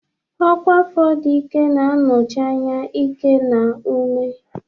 Ọkwa afọ dị ike na-anọchi anya ike na ume.